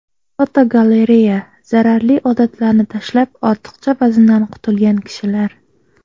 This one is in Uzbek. Fotogalereya: Zararli odatlarni tashlab, ortiqcha vazndan qutulgan kishilar.